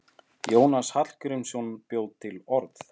Jónas Hallgrímsson bjó til orð.